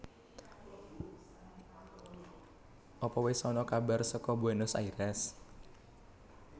Apa wes ana kabar soko Buenos Aires?